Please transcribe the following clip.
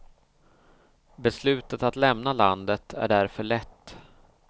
Beslutet att lämna landet är därför lätt.